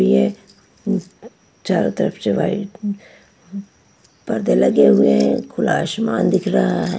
भी है चारों तरफ से वाइट पर्दे लगे हुए हैं खुला आसमान दिख रहा है।